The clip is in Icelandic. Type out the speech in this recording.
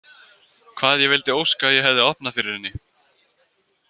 Hvað ég vildi óska að ég hefði opnað fyrir henni.